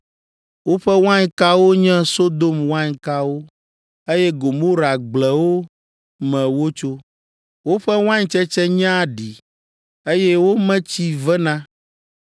Woƒe wainkawo nye Sodom wainkawo eye Gomora gblewo me wotso. Woƒe waintsetse nye aɖi, eye wo me tsi vena.